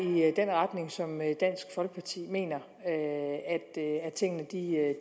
den retning som dansk folkeparti mener tingene